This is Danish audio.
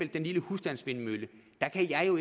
den lille husstandsvindmølle